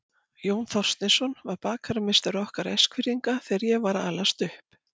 Jón Þorsteinsson var bakarameistari okkar Eskfirðinga þegar ég var að alast upp.